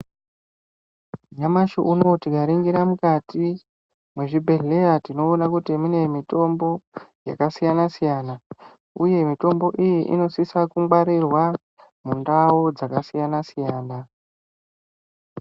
Nyamashi unowu tikaringira mukati mwezvibhedhlera tinoona kuti mune mitombo yakasiyana siyana uye mitombo iyi inosisa kungwarirwa mundau dzakasiyana siyana.